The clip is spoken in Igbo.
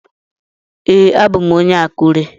Ee, abu m onye Akure.